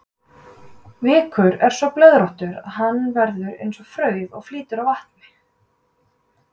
Vikur er svo blöðróttur að hann verður eins og frauð og flýtur á vatni.